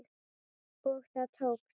Og það tókst!